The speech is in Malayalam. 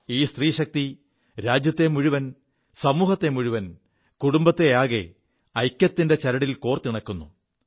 ഈ സ്ത്രീശക്തി രാജ്യത്തെ മുഴുവൻ സമൂഹത്തെ മുഴുവൻ കുടുംബത്തെയാകെ ഐക്യത്തിന്റെ ചരടിൽ കോർത്തിണക്കുു